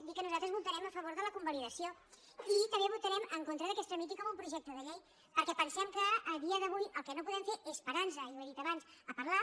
dir que nosaltres votarem a favor de la convalidació i també votarem en contra que es tramiti com un projecte de llei perquè pensem que a dia d’avui el que no podem fer és parar nos i ho he dit abans a parlar